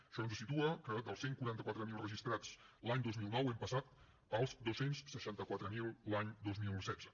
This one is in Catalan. això ens situa que dels cent i quaranta quatre mil registrats l’any dos mil nou hem passat als dos cents i seixanta quatre mil l’any dos mil setze